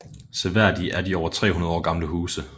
Seværdige er de over 300 år gamle huse